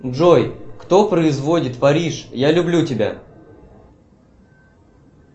джой кто производит париж я люблю тебя